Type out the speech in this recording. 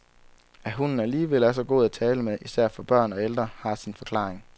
At hunden alligevel er så god at tale med, især for børn og ældre, har sin forklaring.